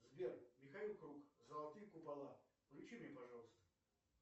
сбер михаил круг золотые купола включи мне пожалуйста